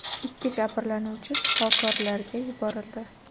Ikki jabrlanuvchi shifokorlarga topshirildi.